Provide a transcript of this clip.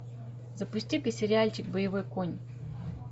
запусти ка сериальчик боевой конь